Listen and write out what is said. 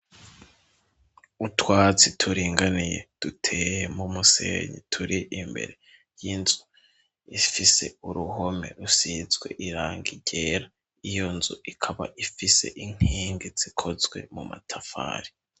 Utwatsi turinganiye duteye mu musenyi turi imbere y'inzu ifise uruhome rusizwe irangi ryera, iyo nzu ikaba ifise inkingi zikozwe mu matafari.